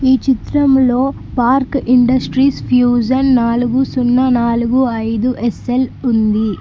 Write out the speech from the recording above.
ఈ చిత్రము లో పార్క్ ఇండస్ట్రీస్ ఫ్యూషన్ నాలుగు సున్నా నాలుగు అయిదు ఎస్సెల్ ఉంది.